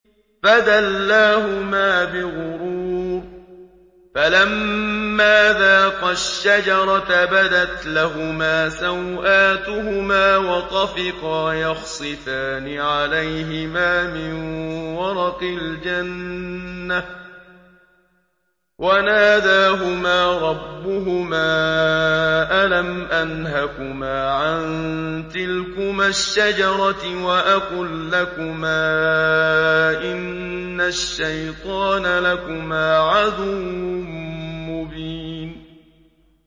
فَدَلَّاهُمَا بِغُرُورٍ ۚ فَلَمَّا ذَاقَا الشَّجَرَةَ بَدَتْ لَهُمَا سَوْآتُهُمَا وَطَفِقَا يَخْصِفَانِ عَلَيْهِمَا مِن وَرَقِ الْجَنَّةِ ۖ وَنَادَاهُمَا رَبُّهُمَا أَلَمْ أَنْهَكُمَا عَن تِلْكُمَا الشَّجَرَةِ وَأَقُل لَّكُمَا إِنَّ الشَّيْطَانَ لَكُمَا عَدُوٌّ مُّبِينٌ